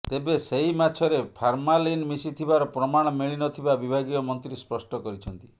ତେବେ ସେହି ମାଛରେ ଫାର୍ମାଲିନ ମିଶିଥିବାର ପ୍ରମାଣ ମିଳିନଥିବା ବିଭାଗୀୟ ମନ୍ତ୍ରୀ ସ୍ପଷ୍ଟ କରିଛନ୍ତି